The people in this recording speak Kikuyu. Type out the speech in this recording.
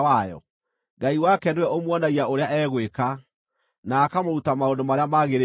Ngai wake nĩwe ũmuonagia ũrĩa egwĩka, na akamũruta maũndũ marĩa magĩrĩire.